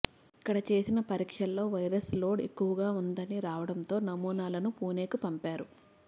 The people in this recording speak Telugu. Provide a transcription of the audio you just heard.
ఇక్కడ చేసిన పరీక్షల్లో వైరస్ లోడ్ ఎక్కువగా ఉందని రావడంతో నమూనా లను పుణేకు పంపారు